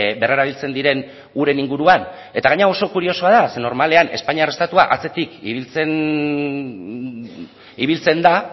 berrerabiltzen diren uren inguruan eta gainera oso kuriosoa da zeren normalean espainiar estatua atzetik ibiltzen da